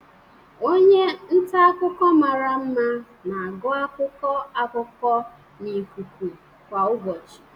Onye nta akụkọ mara mma na-agụ akụkọ akụkọ na ikuku kwa ụbọchị.